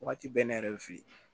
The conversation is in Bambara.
Wagati bɛɛ ne yɛrɛ bɛ fe yen